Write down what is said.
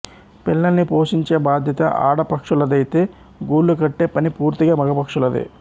పిల్లల్ని పోషించే బాధ్యత ఆడ పక్షులదైతే గూళ్ళు కట్టే పని పూర్తిగా మగ పక్షులదే